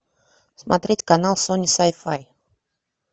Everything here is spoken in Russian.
смотреть канал сони сай фай